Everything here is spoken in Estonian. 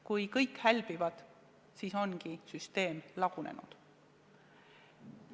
Kui kõik hälbivad, siis ongi süsteem lagunenud.